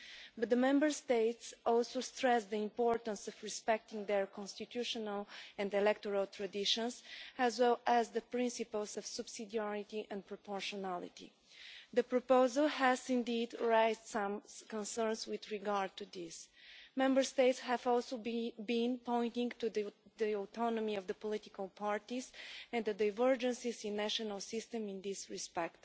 But the Member States also stressed the importance of respecting their constitutional and electoral traditions, as well as the principles of subsidiarity and proportionality. The proposal has indeed raised some concerns in this regard. Member States have also been pointing to the autonomy of the political parties and the divergences in national systems in this respect.